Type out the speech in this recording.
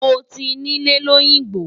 Mo ti nílẹ̀ lóyìngbò.